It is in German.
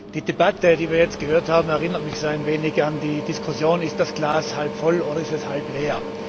Die Debatte, die wir jetzt gehört haben, erinnert mich ein wenig an die Diskussion Ist das Glas halb voll oder ist es halb leer?